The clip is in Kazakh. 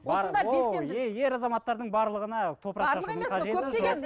ер азаматтардың барлығына топырақ шашудың қажеті жоқ